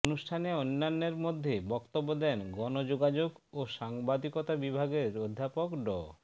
অনুষ্ঠানে অন্যান্যের মধ্যে বক্তব্য দেন গণযোগাযোগ ও সাংবাদিকতা বিভাগের অধ্যাপক ড